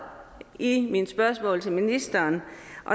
i mine spørgsmål til ministeren